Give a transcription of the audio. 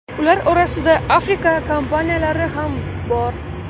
Ular orasida Afrika kompaniyalari ham bor.